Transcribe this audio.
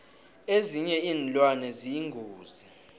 ezinye iinlwane ziyingozi